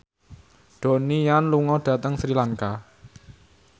Donnie Yan lunga dhateng Sri Lanka